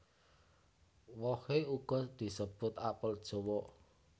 Wohe uga disebut apel jawa